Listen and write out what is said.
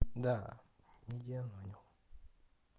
да не делаю